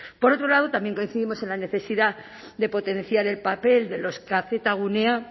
por otro lado también coincidimos en la necesidad de potenciar el papel de los kzgunea